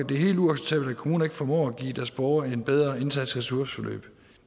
kommuner ikke formår at give deres borgere en bedre indsats i ressourceforløb